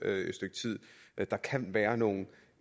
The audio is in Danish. stykke tid der kan være nogle